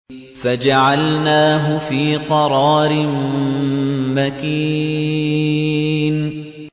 فَجَعَلْنَاهُ فِي قَرَارٍ مَّكِينٍ